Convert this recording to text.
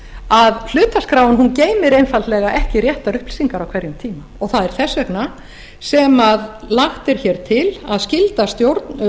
að hlutaskráin geymir einfaldlega ekki réttar upplýsingar á hverjum tíma og það er þess vegna sem lagt er hér til að skylda stjórn